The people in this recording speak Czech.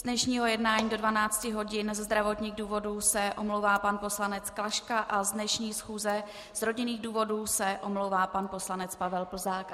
Z dnešního jednání do 12 hodin ze zdravotních důvodů se omlouvá pan poslanec Klaška a z dnešní schůze z rodinných důvodů se omlouvá pan poslanec Pavel Plzák.